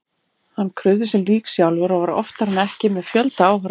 Hann krufði sín lík sjálfur og var oftar en ekki með fjölda áhorfenda.